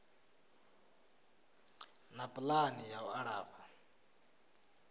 na pulani ya u alafha